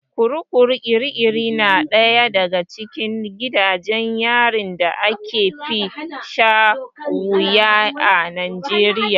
Kurkukun kirkiri na ɗaya daga cikin gidajen yarin da aka fi shan wuya a Najeriya.